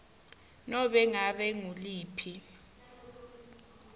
nobe ngabe nguliphi